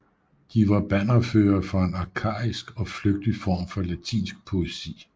De var bannerførere for en arkaisk og flygtig form for latinsk poesi